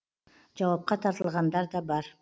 жауапқа тартылғандар да бар